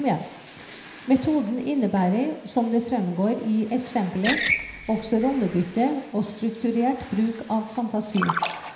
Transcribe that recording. Metoden innebærer, som det fremgår i eksempelet, også rollebytte og strukturert bruk av fantasi.